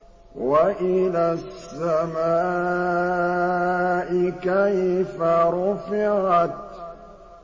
وَإِلَى السَّمَاءِ كَيْفَ رُفِعَتْ